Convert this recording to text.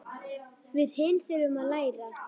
Við hin þurfum að læra.